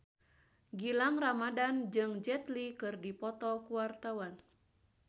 Gilang Ramadan jeung Jet Li keur dipoto ku wartawan